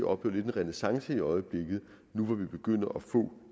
oplever en renæssance i øjeblikket nu hvor vi begynder at få